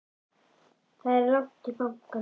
Það er langt í bankann!